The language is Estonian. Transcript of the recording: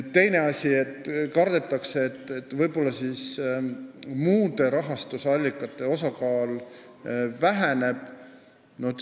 Teine asi: kardetakse, et võib-olla väheneb muude rahastusallikate osakaal.